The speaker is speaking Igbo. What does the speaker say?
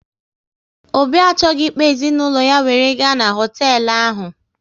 Obi achọghị ịkpọ ezinaụlọ ya were gaa n'hotelu ahụ